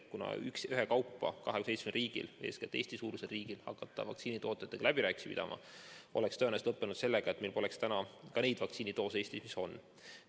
Kui tulnuks 27 riigil ühekaupa hakata läbi rääkima, siis Eesti-suuruse riigi läbirääkimised vaktsiinitootjatega oleks tõenäoliselt lõppenud sellega, et meil poleks praegu neidki vaktsiinidoose, mis meil on.